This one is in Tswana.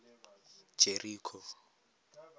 jeriko